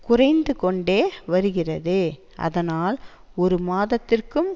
குறைந்து கொண்டே வருகிறது ஆதனால் ஒரு மாதத்திற்கும்